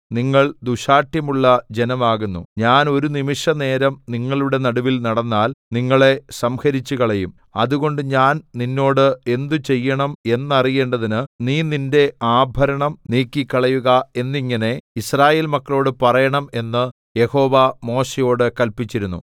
നിങ്ങൾ ദുശ്ശാഠ്യമുള്ള ജനം ആകുന്നു ഞാൻ ഒരു നിമിഷനേരം നിങ്ങളുടെ നടുവിൽ നടന്നാൽ നിങ്ങളെ സംഹരിച്ചുകളയും അതുകൊണ്ട് ഞാൻ നിന്നോട് എന്ത് ചെയ്യണം എന്നറിയേണ്ടതിന് നീ നിന്റെ ആഭരണം നീക്കിക്കളയുക എന്നിങ്ങനെ യിസ്രായേൽ മക്കളോട് പറയണം എന്ന് യഹോവ മോശെയോട് കല്പിച്ചിരുന്നു